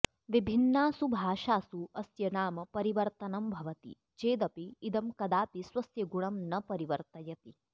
विभिन्नासु भाषासु अस्य नाम परिवर्तनं भवति चेदपि इदं कदापि स्वस्य गुणं न परिवर्तयति